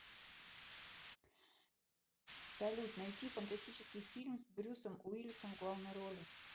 салют найти фантастический фильм с брюссом уиллисом в главной роли